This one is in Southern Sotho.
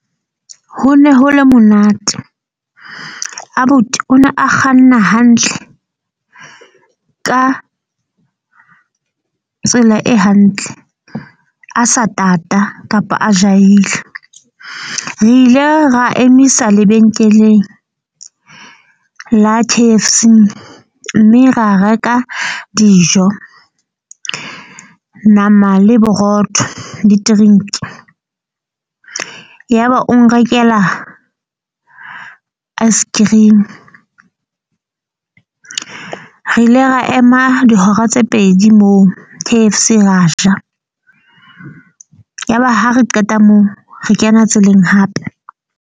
Ho ne ho le monate. Abuti o ne a kganna hantle ka tsela e hantle, a sa tata kapa a jahile. Re ile ra emisa lebenkeleng la K_F_C. Mme ra reka dijo, nama le borotho le drink-i. Yaba o nrekela ice cream, re ile ra ema dihora tse pedi moo K_F_C ra ja. Yaba ha re qeta moo re kena tseleng hape.